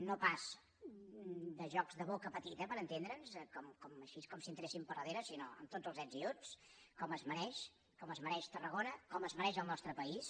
no pas de jocs de boca petita per entendre’ns així com si entressin per darrere sinó amb tots els ets i uts com es mereix tarragona com es mereix el nostre país